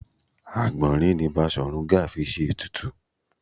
Àgbọ̀nrín ni Basọ̀run Gáà fi ṣe ètùtù